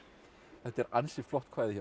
þetta er ansi flott kvæði hjá